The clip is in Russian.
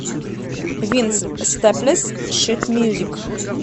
винс стэплес шит мьюзик